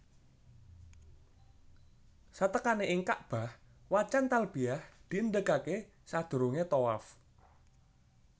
Satekane ing Kakbah wacan talbiyah diendhegake sadurunge thawaf